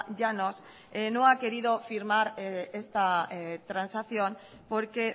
llanos no ha querido firmar esta transacción porque